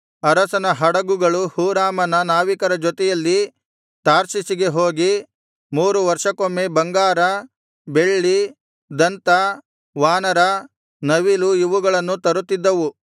ಅರಸನ ಹಡುಗುಗಳು ಹೂರಾಮನ ನಾವಿಕರ ಜೊತೆಯಲ್ಲಿ ತಾರ್ಷೀಷಿಗೆ ಹೋಗಿ ಮೂರು ವರ್ಷಕ್ಕೊಮ್ಮೆ ಬಂಗಾರ ಬೆಳ್ಳಿ ದಂತ ವಾನರ ನವಿಲು ಇವುಗಳನ್ನು ತರುತ್ತಿದ್ದವು